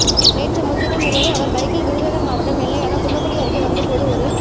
நேற்று முன்தினம் இரவு அவர் பைக்கில் விருதுநகர் மாவட்டம் எல்லையான குன்னக்குடி அருகே வந்த போது ஒரு